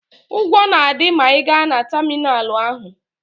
Ụgwọ na-adị ma ị gaa na tamịnalụ ahụ.